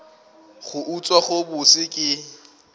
go utswa go bose ke